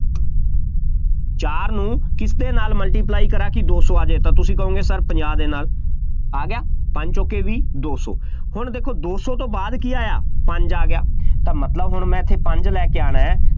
ਚਾਰ ਨੂੰ ਕਿਸਦੇ ਨਾਲ multiply ਕਰਾਂ ਕਿ ਦੋ ਸੌ ਆ ਜਾਵੇ, ਤਾਂ ਤੁਸੀਂ ਕਹੋਂਗੇ Sir ਪੰਜਾਹ ਦੇ ਨਾਲ, ਆ ਗਿਆ, ਪੰਜ ਚੌਕੇ ਵੀਹ, ਦੋ ਸੌ, ਹੁਣ ਦੇਖੋ ਦੌ ਸੌ ਤੋਂ ਬਾਅਦ ਕੀ ਆਇਆ, ਪੰਜ ਆ ਗਿਆ, ਤਾਂ ਮਤਲਬ ਹੁਣ ਮੈਂ ਇੱਥੇ ਪੰਜ ਲੈ ਕੇ ਆਉਣਾ,